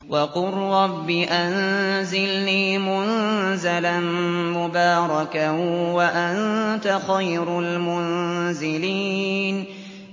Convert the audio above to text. وَقُل رَّبِّ أَنزِلْنِي مُنزَلًا مُّبَارَكًا وَأَنتَ خَيْرُ الْمُنزِلِينَ